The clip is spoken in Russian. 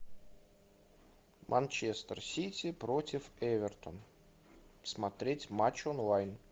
манчестер сити против эвертон смотреть матч онлайн